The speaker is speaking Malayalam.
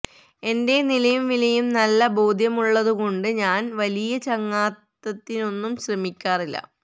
എന്റെ നിലയും വിലയും നല്ല ബോധ്യമുള്ളതുകൊണ്ട് ഞാന് വലിയ ചങ്ങാത്തത്തിനൊന്നും ശ്രമിക്കാറില്ല